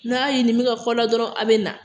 N'aw ye nin bɛ ka kɛ aw la dɔrɔn, aw bɛ na